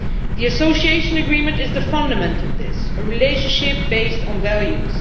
The Association Agreement is the fundament of this a relationship based on values.